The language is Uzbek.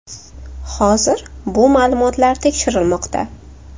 Hozir bu ma’lumotlar tekshirilmoqda.